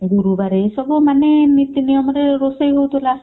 ଗୁରୁବାର ଏସବୁ ମାନେ ନୀତି ନିୟମରେ ରୋଷେଇ ହଉଥିଲା।